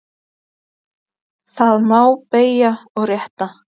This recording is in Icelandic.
Þá má beygja og rétta.